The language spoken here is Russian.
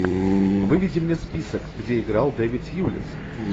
выведи мне список где играл дэвид льюис